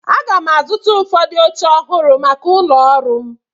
Aga m azụta ụfọdụ oche ọhụrụ maka ụlọ ọrụ m.